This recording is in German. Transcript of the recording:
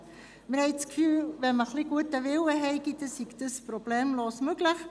Wir haben das Gefühl, mit ein bisschen gutem Willen sei das problemlos möglich;